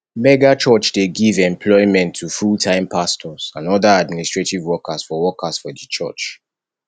megachurch dey give employment to fulltime pastors and oda administrative workers for workers for di church